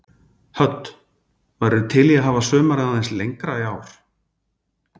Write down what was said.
Hödd: Værirðu til í að hafa sumarið aðeins lengra í ár?